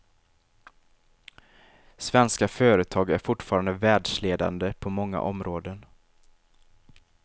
Svenska företag är fortfarande världsledande på många områden.